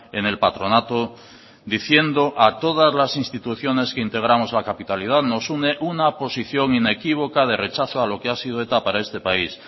en el patronato diciendo a todas las instituciones que integramos la capitalidad nos une una posición inequívoca de rechazo a lo que ha sido eta para este país